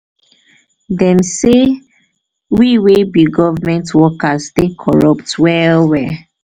dem sey we wey be government workers dey corrupt well-well.